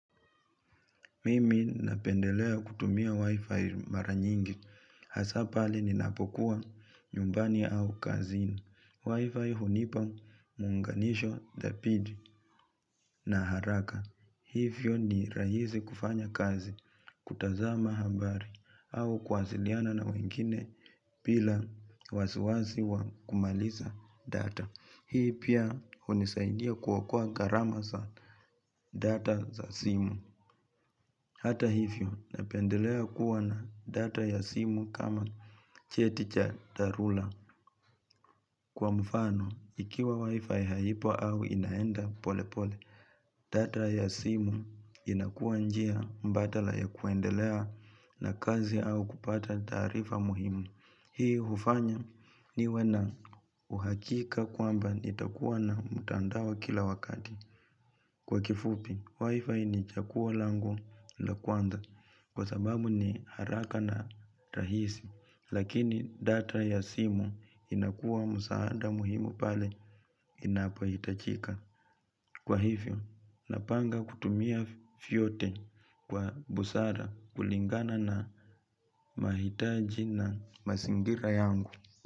Mimi ninapendelea kutumia wi-fi maranyingi, hasa pale ninapokuwa nyumbani au kazini. Wi-fi hunipa muunganisho, thabiti na haraka. Hivyo ni rahisi kufanya kazi, kutazama habari au kuwasiliana na wengine bila wasiwasi wa kumaliza data. Hii pia hunisaidia kuokoa gharama za data za simu. Hata hivyo ninapendelea kuwa na data ya simu kama cheticha dharura kwa mfano ikiwa wifi haipo au inaenda pole pole. Data ya simu inakuwa njia mbadala ya kuendelea na kazi au kupata taarifa muhimu. Hii hufanya niwe na uhakika kwamba nitakuwa na mtandao kila wakati. Kwa kifupi, wifi ni chaguo langu la kwanza kwa sababu ni haraka na rahisi lakini data ya simu inakua msaada muhimu pale inapohitajika. Kwa hivyo, napanga kutumia vyote kwa busara kulingana na mahitaji na mazingira yangu.